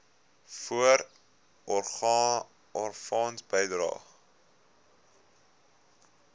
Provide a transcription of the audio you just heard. voorsorgfonds bydrae